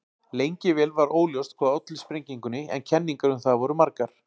Lengi vel var óljóst hvað olli sprengingunni en kenningar um það voru margar.